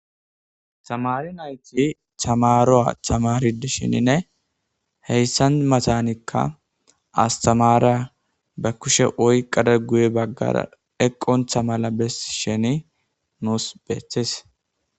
Tamari nayti tamaroa tamaridisheninne heyssan matanikka astamariya ba kushe oyqada guye baggara eqqon tha mala bes sheni nuus beeththes.